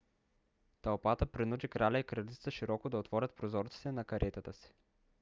тълпата принуди краля и кралицата широко да отворят прозорците на каретата си